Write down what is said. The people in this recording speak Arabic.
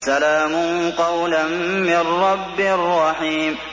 سَلَامٌ قَوْلًا مِّن رَّبٍّ رَّحِيمٍ